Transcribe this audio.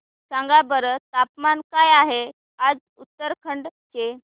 सांगा बरं तापमान काय आहे आज उत्तराखंड चे